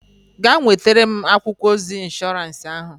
Gaa nwetara m akwụkwọ ozi ịnshọransị ahụ!